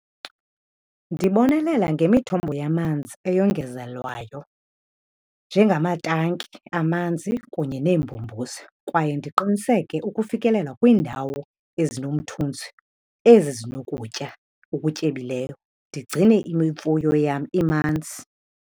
Ndibonelela ngemithombo yamanzi eyongezelwayo njengamatanki, amanzi kunye neembombozi. Kwaye ndiqiniseke ukufikelela kwiindawo ezinomthunzi ezi zinokutya okutyebileyo ndigcine imfuyo yam imanzi.